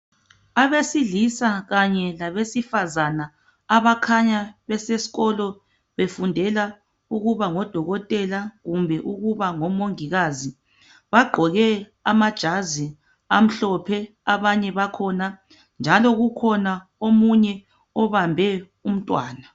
abesilisa kanye labesifazana abakhanya besesikolo befundela ukuba ngodokotela kumbe ukuba ngomongikazi bagqoke amajazi amhlophe abanye bakhona njalo kukhona omunye obambe umntwana